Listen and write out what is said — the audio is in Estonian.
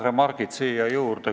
Mõned remargid siia juurde.